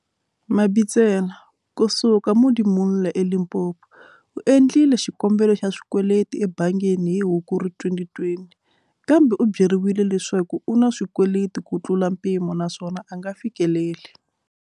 Mabitsela, kusuka Modimolle eLimpopo, u endlile xikombelo xa xikweleti ebangini hi Hukuri 2020, kambe u byeriwile leswaku u na swikweleti kutlula mpimo naswona a nga fikeleli.